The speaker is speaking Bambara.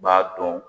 B'a dɔn